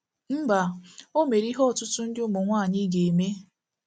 Mba, o mere ihe ọtụtụ ndị ụmụ nwaanyị ga-eme.